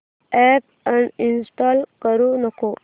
app uninstall करू नको